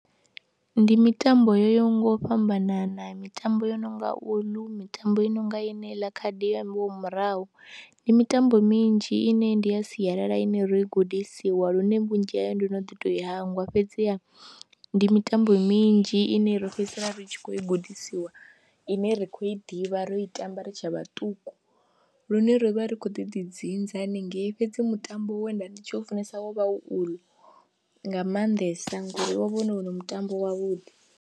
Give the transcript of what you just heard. Ndi mitambo yo yaho nga u fhambanana mitambo yo no nga uḽu, mitambo i no nga yeneiḽa khadi yo ambiwaho murahu, ndi mitambo minzhi ine ndi ya sialala ine ri gudisiwa lune vhunzhi hayo ndo no ḓi tou i hangwa fhedziha ndi mitambo minzhi ine ro fhedzisela ri tshi khou i gudisiwa ine ra khou i ḓivha ro i tamba ri tshe vhaṱuku lune ri vha ri khou ḓi ḓi dzinza haningei fhedzi mutambo we nda ndi tshi u funesa wo vha uḽu nga maanḓesa ngori wo vha u wone mutambo wavhuḓi.